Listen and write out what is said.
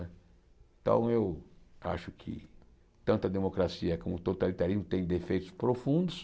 Então eu acho que tanto a democracia como o totalitarismo têm defeitos profundos,